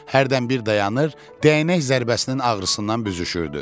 Hərdən bir dayanır, dəyənək zərbəsinin ağrısından büzüşürdü.